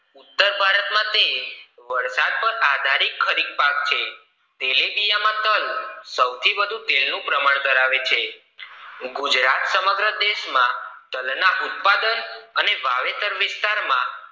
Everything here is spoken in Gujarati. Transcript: ઉત્તર ભારત તે વરસાદ પર આદરિત ખરીક પાક છે તેલીબિયા માં તલ સૌથી વધુ તેલ નું પ્રમાણ ધરાવે છે ગુજરાત સમગ દેશ માં ધના ઉત્પાદક અને વાવેતર વિસ્તરા માં